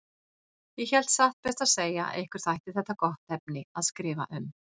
Ég hélt satt best að segja að ykkur þætti þetta gott efni að skrifa um.